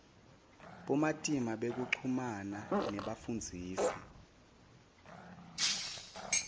bumatima bekuchumana nebafundzisi